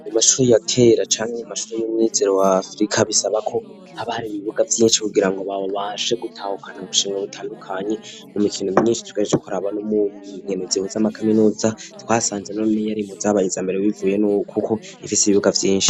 Mumashure mashuro yatera canwe mu mashuro y'umyizero wa afrika bisaba ko abari ibibuga byinshi kugira ngo baba baje gutahukana ubushinga butandukanye mu mikino myinshi tugareckoraba no mu nkenuzibo z'amakaminuza twasanze none yari mu zabayiza mbere bivuye n'koko ifise ibibuga vyinshi.